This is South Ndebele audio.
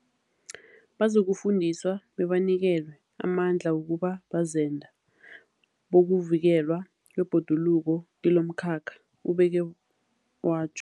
Bazokufundiswa bebanikelwe amandla wokuba bazenda bokuvikelwa kwebhoduluko kilomkhakha, ubeke watjho.